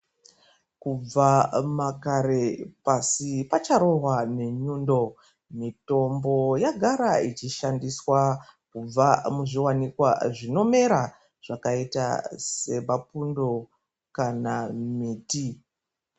Kubva makare pasi pacharohwa nenyundo mitombo yagara ichishandiswa kubva muzviwanikwa zvinomera zvakaita semapundo kana miti.